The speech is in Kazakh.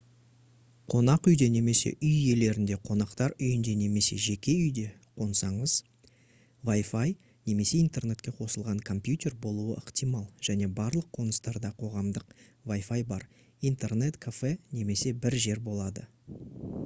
қонақ үйде немесе үй иелерінде қонақтар үйінде немесе жеке үйде қонсаңыз wi-fi немесе интернетке қосылған компьютер болуы ықтимал және барлық қоныстарда қоғамдық wi-fi бар интернет кафе немесе бір жер болады